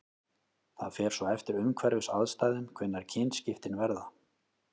Það fer svo eftir umhverfisaðstæðum hvenær kynskiptin verða.